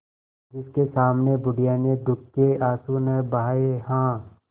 जिसके सामने बुढ़िया ने दुःख के आँसू न बहाये हां